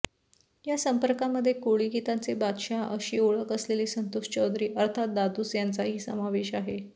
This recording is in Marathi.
या स्पर्धकांमध्ये कोळी गीतांचे बादहशाह अशी ओळख असलेले संतोष चौधरी अर्थात दादूस यांचाही समावेश आहे